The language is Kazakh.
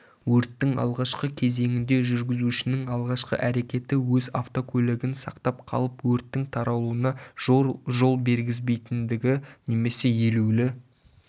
өрттің алғашқы кезеңінде жүргізушінің алғашқы әрекеті өз автокөлігін сақтап қалып өрттің таралуына жол бергізбейтіндігі немесе елеулі